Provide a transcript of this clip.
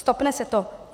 Stopne se to.